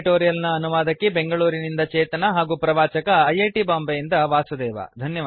ಈ ಟ್ಯುಟೋರಿಯಲ್ ನ ಅನುವಾದಕಿ ಬೆಂಗಳೂರಿನಿಂದ ಚೇತನಾ ಹಾಗೂ ಪ್ರವಾಚಕ ಐ ಐ ಟಿ ಬಾಂಬೆಯಿಂದ ವಾಸುದೇವ